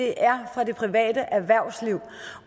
er fra det private erhvervsliv